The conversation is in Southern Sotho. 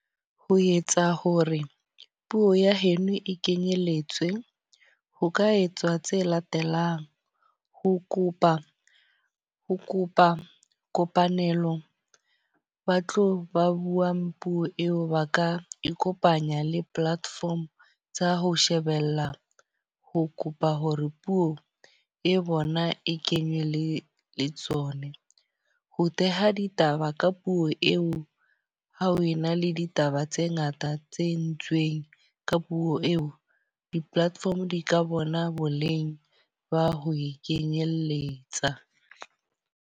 Ho etsa hore puo ya heno e kenyelletsa, ho ka etsa tse latelang. Ho kopa ho kopa kopanelo ba tlo ba buang puo eo ba ka ikopanya le platform tsa ho shebella ho kopa hore puo e bona e kenywele le tsone. Ho theha ditaba ka puo eo. Ha o na le ditaba tse ngata tse entsweng ka puo eo. Di-platform di ka bona boleng ba ho e kenyelletsa.